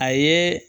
A ye